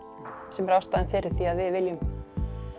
sem er ástæðan fyrir því að við viljum